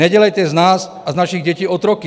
Nedělejte z nás a z našich dětí otroky!